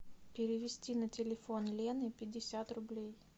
перевести на телефон лены пятьдесят рублей